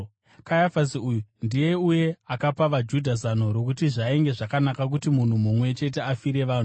Kayafasi uyu ndiye uya akapa vaJudha zano rokuti zvainge zvakanaka kuti munhu mumwe chete afire vanhu.